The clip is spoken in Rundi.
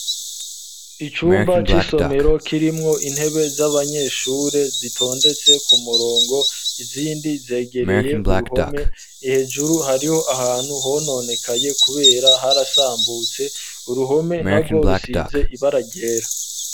Icumba c'isomero kirimwo intebe z'abanyeshure zitondetse ku murongo, izindi zegereye uruhome, hejuru hariho ahantu hononekaye kubera harasambutse, uruhome narwo rusize ibara ryera.